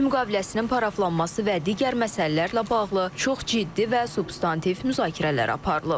Sülh müqaviləsinin paraflanması və digər məsələlərlə bağlı çox ciddi və substantiv müzakirələr aparılıb.